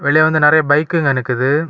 வெளிய வந்து நிறைய பைக்குங்க நிக்குது.